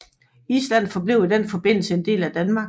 Island forblev i den forbindelse en del af Danmark